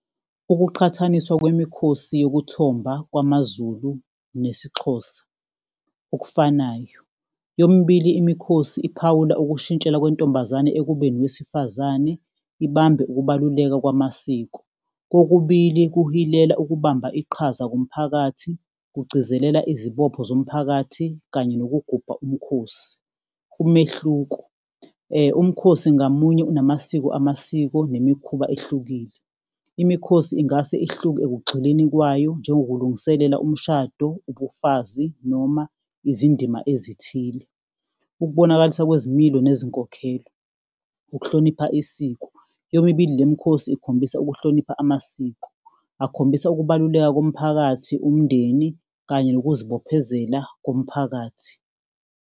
Ukuqhathaniswa kwemikhosi yokuthomba kwamaZulu nesiXhosa, okufanayo, yomibili imikhosi phawula ukushintshela kwentombazane ekube nowesifazane ibambe ukubaluleka kwamasiko, kokubili kuhilela ukubamba iqhaza komphakathi kugcizelela izibopho zomphakathi kanye lokugubha umkhosi. Umehluko, umkhosi ngamunye unamasiko, amasiko nemikhuba ehlukile. Imikhosi ingase ihluke ekugxileni kwayo, njengokulungiselela umshado, ubufazi, noma izindima ezithile, ukubonakalisa kwezimilo nezinkokhelo. Ukuhlonipha isiko, yomibili le mikhosi ikhombisa ukuhlonipha amasiko, akhombisa ukubaluleka komphakathi, umndeni, kanye nokuzibophezela komphakathi.